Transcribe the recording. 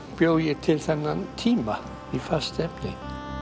bjó ég til þennan tíma í fast efni